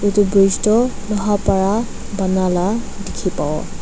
Etu bridge tuh bhal para bana la dekhe pavo.